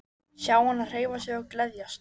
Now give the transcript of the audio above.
Sjá hana hreyfa sig og gleðjast.